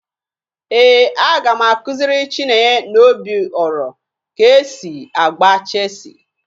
Ee, aga m akụziri Chinenye na Obioro ka e si agba cheesi